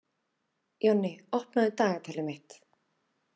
Jonni, opnaðu dagatalið mitt.